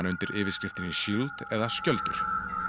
undir yfirskriftinni Shield eða skjöldur